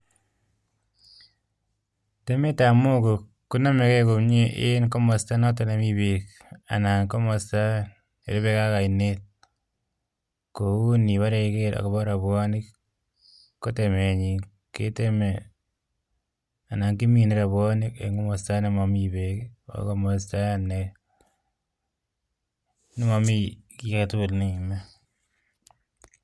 Temetab mogo konomegee komie en komostonoton nemii beek anan komosto nerubekee ak oinet ,kou iniboree iger agobo robwonik kotemenyin keteme anan kiminee robwonik en komosto nemomi beek agomosto nemomi kiagetugul neime